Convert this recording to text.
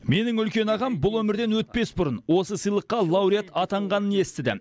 менің үлкен ағам бұл өмірден өтпес бұрын осы сыйлыққа лауреат атанғанын естіді